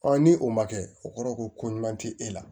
ni o ma kɛ o kɔrɔ ko ko ɲuman tɛ e la